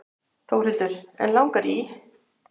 Þórhildur: En langar í?